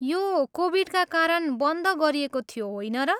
यो कोभिडका कारण बन्द गरिएको थियो, होइन र?